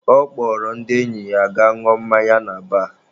Ọ kpọrọ ndị enyi ya ha gaa ṅụọ mmanya na baar.